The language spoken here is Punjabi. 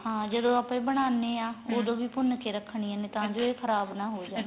ਹਾਂ ਜਦੋ ਆਪਾਂ ਇਹ ਬਣਾਨੇ ਆ ਵੀ ਭੁੰਨ ਕੇ ਰੱਖਣਾ ਤਾਂ ਜੋ ਇਹ ਖਰਾਬ ਨਾ ਹੋ ਜਾਣ